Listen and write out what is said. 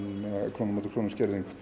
króna á móti krónu skerðing